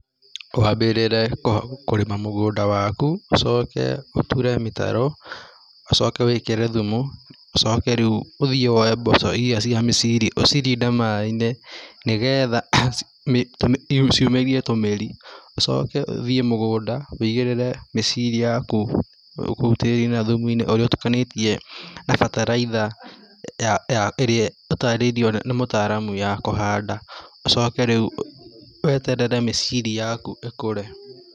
Wambĩrĩre kũrĩma mũgũnda waku, ũcoke ũtũre mĩtaro, ũcoke wĩkĩre thumu, ũcoke ũthie woe mboco iria cia mĩciri ũcirinde maaĩ-inĩ nĩgetha ciumĩrie tũmĩri, ũcoke ũthie mũgũnda ũigĩrĩre mĩciri yaku kũu tĩrinĩ na thumuinĩ ũcĩo ũtukanĩtie na bataraitha ĩrĩa ũtarĩirio nĩ mũtaramu ya kũhanda, ũcoke rĩu weterere mĩciri yaku ĩkũre.